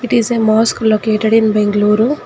it is a mosque located in bangalore.